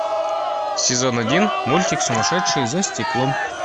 сезон один мультик сумасшедшие за стеклом